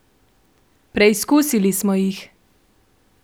Preizkusili smo jih!